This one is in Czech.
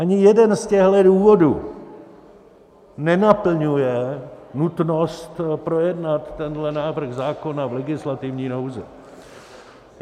Ani jeden z těchhle důvodů nenaplňuje nutnost projednat tenhle návrh zákona v legislativní nouzi.